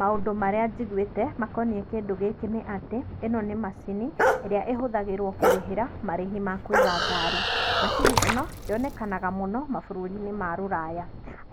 Maũndũ marĩa njigũĩte makoniĩ kĩndũ gĩkĩ nĩ atĩ ĩno nĩmacini ĩrĩa ĩhuthagĩrwo kũrĩhĩra marĩhi ma kũiga ngari, macini ĩno yonekaga muno bũrũrinĩ wa rũraya